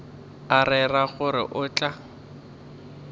a rera gore o tla